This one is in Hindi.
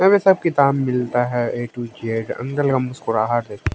यहां पे सब किताब मिलता है ए टू ज अंदल का मुस्कुराहट है।